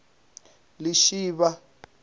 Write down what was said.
lishivha